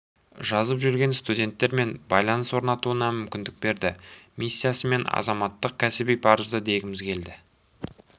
жазып жүрген студенттермен байланыс орнатуына мүмкіндік берді миссиясы мен азаматтық кәсіби парызы дегіміз келеді